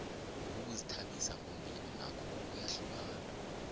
ukuzithabisa ngombhino nakho kuyahlukana